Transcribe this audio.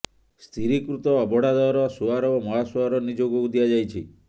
ସ୍ଥିରୀକୃତ ଅବଢ଼ା ଦର ସୁଆର ଓ ମହାସୁଆର ନିଯୋଗକୁ ଦିଆଯାଇଛି